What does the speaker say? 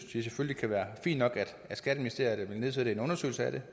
synes det kan være fint nok at skatteministeriet vil igangsætte en undersøgelse af det